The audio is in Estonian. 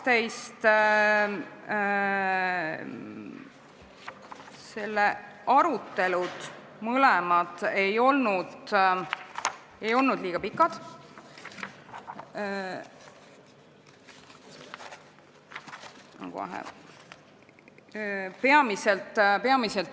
Ettepanekute nr 11 ja 12 arutelud ei olnud liiga pikad.